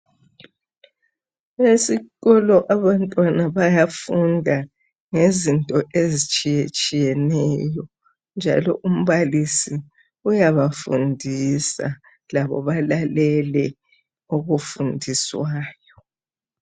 Esikolo abantwana bayafunda ngezinto ezitshiyatshiyeneyo, njalo umbalisi uyabafundisa labo balalele okufundiswayo.